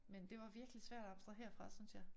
Men det var virkelig svært at abstrahere fra synes jeg